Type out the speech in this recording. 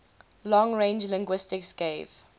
long range linguistics gave